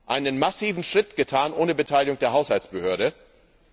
einen massiven Schritt ohne Beteiligung der Haushaltsbehörde getan.